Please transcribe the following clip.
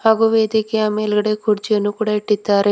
ಹಾಗು ವೇದಿಕೆಯ ಮೇಲ್ಗಡೆ ಕುರ್ಚಿಯನ್ನು ಕೂಡ ಇಟ್ಟಿದ್ದಾರೆ.